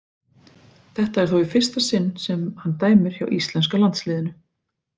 Þetta er þó í fyrsta sinn sem hann dæmir hjá íslenska landsliðinu.